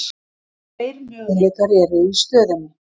Tveir möguleikar eru í stöðunni.